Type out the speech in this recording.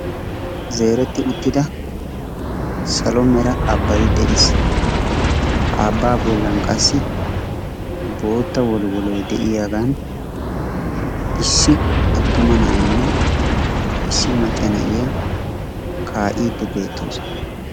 Zereetti uttida salo mera abbay de'ees. Ha abbaa bollan qassi bootta wolwooloy de'iyaagan issi attuma na'aynne issi macca na'iyaa kaa"idi beettoosona.